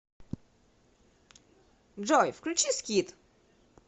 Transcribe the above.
джой включи скид